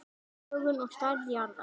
Lögun og stærð jarðar